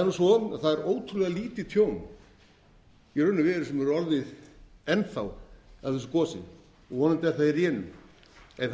er nú svo að það er ótrúlega lítið tjón í raun og veru sem hefur farið enn þá af eru gosi og vonandi er það í rénun en það eru